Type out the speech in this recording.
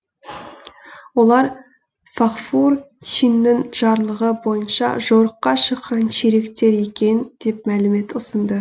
олар фағфур чиннің жарлығы бойынша жорыққа шыққан чериктер екен деп мәлімет ұсынды